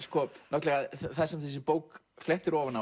náttúrulega það sem þessi bók flettir ofan